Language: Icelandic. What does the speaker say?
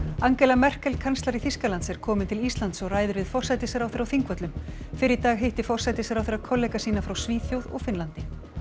Angela Merkel kanslari Þýskaland s er komin til Íslands og ræðir við forsætisráðherra á Þingvöllum fyrr í dag hitti forsætisráðherra kollega sína frá Svíþjóð og Finnlandi